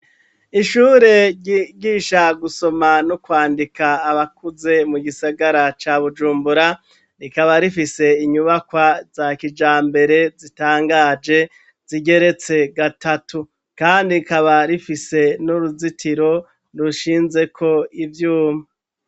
Ishure rigisha gusoma no kwandika abakuze mu gisagara ca bujumbura rikaba rifise inyubakwa za kijambere zitangaje zigeretse gatatu kandi rikaba rifise n'uruzitiro rushinzeko ivyuma.